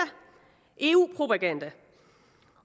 eu propaganda